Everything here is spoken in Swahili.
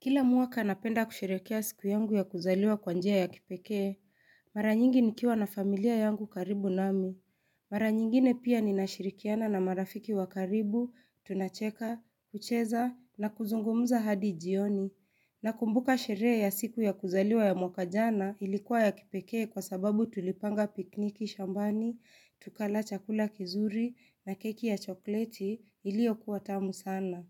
Kila mwaka napenda kusherehekea siku yangu ya kuzaliwa kwa njia ya kipekee, mara nyingi nikiwa na familia yangu karibu nami. Mara nyingine pia ninashirikiana na marafiki wa karibu, tunacheka, kucheza, na kuzungumuza hadi jioni. Nakumbuka sherehe ya siku ya kuzaliwa ya mwaka jana ilikuwa ya kipekee kwa sababu tulipanga pikiniki shambani, tukala chakula kizuri na keki ya chokoleti iliyokuwa tamu sana.